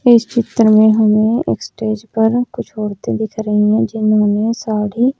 इस चित्र में हमें स्टेज पर कुछ औरतें दिख रही है जिन्होंने साड़ी--